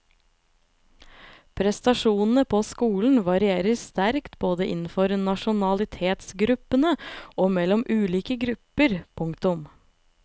Prestasjonene på skolen varierer sterkt både innenfor nasjonalitetsgruppene og mellom ulike grupper. punktum